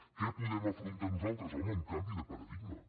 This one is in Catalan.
què podem afrontar nosaltres home un canvi de paradigma